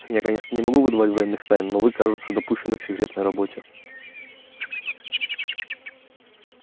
я конечно не могу выдавать военных тайн но вы кажется допущены к секретной работе